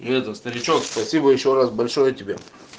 и это старичек спасибо ещё раз большое тебе